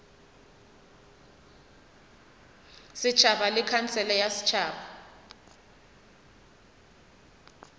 setšhaba le khansele ya setšhaba